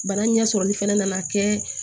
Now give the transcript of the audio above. Bana ɲɛ sɔrɔli fɛnɛ nana kɛ